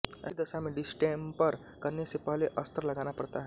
ऐसी दशा में डिस्टेंपर करने से पहले अस्तर लगाना पड़ता है